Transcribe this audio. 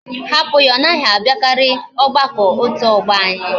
Ha put ya! Onaghi abiakari ogbako otu ogbo anyi